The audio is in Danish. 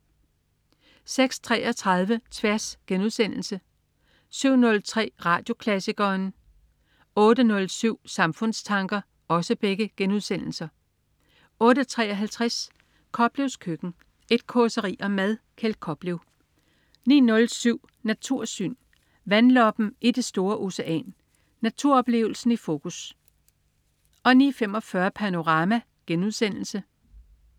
06.33 Tværs* 07.03 Radioklassikeren* 08.07 Samfundstanker* 08.53 Koplevs Køkken. Et causeri om mad. Kjeld Koplev 09.07 Natursyn. Vandloppen i det store ocean. Naturoplevelsen i fokus 09.45 Panorama*